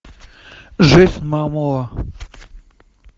момоа